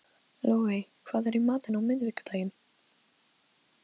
Logey, hvað er í matinn á miðvikudaginn?